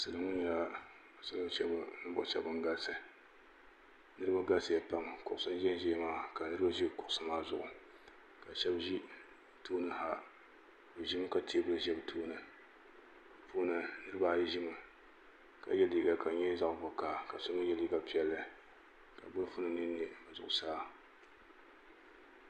jarinibɛsa n bɔŋɔ jarinibɛsa maa nyɛla din pɛntɛ pɛnta piɛli ka ŋmɛrima bɛni ka ƒɔlaki pɛli bɛni ka bia bɛni n.yɛ liga ʒiɛ ka nyɛgi baaji sabilinli ka so jinjam sabinli paɣ' so nyɛla ŋɔ gba ʒɛ tahili zaya paɣ' gba ʒɛya yɛ liga dozim ka tabu o shɛɛ ka di liɣisi zaɣ sabila